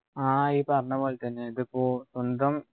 ആഹ് ഈ പറഞ്ഞപോലെതന്നെ ഇതിപ്പോ സ്വന്തം